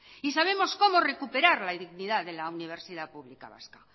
y sabemos cómo recuperar la dignidad de la universidad pública vasca